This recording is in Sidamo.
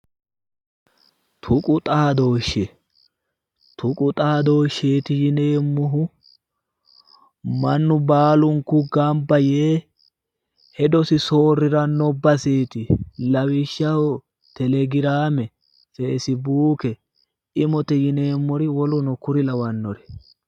tuqu xaadooshshe tuqu xaadooshsheeti yineemmohu mannu baalunku gamba yee hedosi soorriranno baseeti lawishshaho telegraame feesibuuke imote yineemmori woluno kuri lawannori.